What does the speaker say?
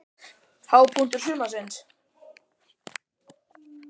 Hápunktur sumarsins?